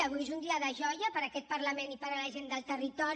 avui és un dia de joia per a aquest parlament i per a la gent del territori